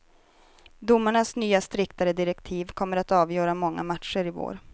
Domarnas nya striktare direktiv kommer att avgöra många matcher i vår.